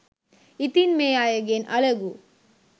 ඉතින් මේ අයගෙන් අලගු